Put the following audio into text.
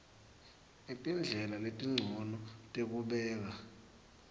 netindlela letincono tekubeka